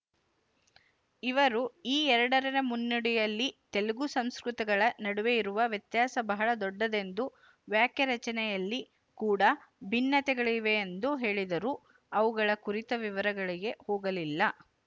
ಇವರು ಈ ಎರಡರ ಮುನ್ನುಡಿಯಲ್ಲಿ ತೆಲುಗು ಸಂಸ್ಕೃತಗಳ ನಡುವೆ ಇರುವ ವ್ಯತ್ಯಾಸ ಬಹಳ ದೊಡ್ಡದೆಂದು ವಾಕ್ಯರಚನೆಯಲ್ಲಿ ಕೂಡಾ ಭಿನ್ನತೆಗಳಿವೆಯೆಂದು ಹೇಳಿದರೂ ಅವುಗಳ ಕುರಿತ ವಿವರಗಳಿಗೆ ಹೋಗಲಿಲ್ಲ